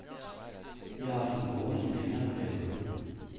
De har haft ham boende i en længere periode.